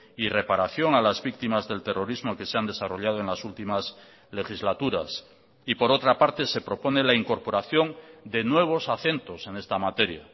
y reparación a las víctimas del terrorismo que se han desarrollado en las últimas legislaturas y por otra parte se propone la incorporación de nuevos acentos en esta materia